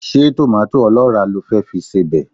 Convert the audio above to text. Ṣé tòmátò ọlọ́ràá lo fẹ́ fi sebẹ̀?